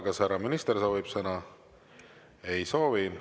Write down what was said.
Kas härra minister soovib sõna?